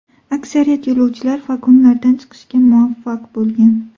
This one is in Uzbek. Aksariyat yo‘lovchilar vagonlardan chiqishga muvaffaq bo‘lgan.